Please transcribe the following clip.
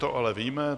To ale víme.